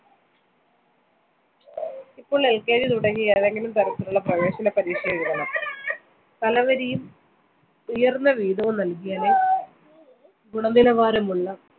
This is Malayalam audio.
ഇപ്പോൾ LKG തുടങ്ങി ഏതെങ്കിലും തരത്തിലുളള പ്രവേശന പരീക്ഷയെഴുതണം. തല വരിയും ഉയർന്ന വീതവും നൽകിയാലെ ഗുണനിലവാരമുളള